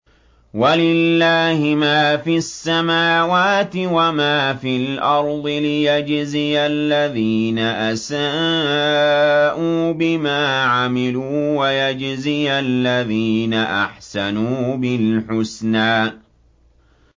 وَلِلَّهِ مَا فِي السَّمَاوَاتِ وَمَا فِي الْأَرْضِ لِيَجْزِيَ الَّذِينَ أَسَاءُوا بِمَا عَمِلُوا وَيَجْزِيَ الَّذِينَ أَحْسَنُوا بِالْحُسْنَى